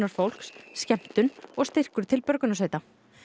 fólks skemmtun og styrkur til björgunarsveita